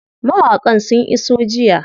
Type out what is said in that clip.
Mawaƙan sun iso jiya.